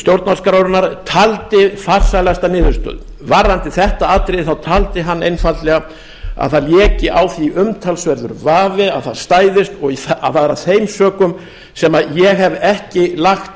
stjórnarskrárinnar taldi farsælasta niðurstöðu varðandi þetta atriði taldi hann einfaldlega að það léki á því umtalsverður vafi að það stæðist og það er af þeim sökum sem ég hef ekki lagt